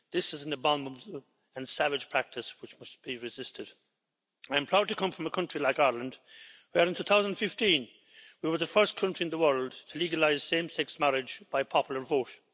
This is an abominable and savage practice, which must be resisted. I'm proud to come from a country like Ireland, where in 2015 we were the first country in the world to legalise same sex marriage by popular vote.